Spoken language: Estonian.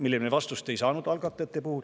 Sellele me vastust ei saanud algatajatelt.